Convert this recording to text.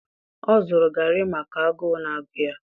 o zuru garri maka agụụ na-agụ ya.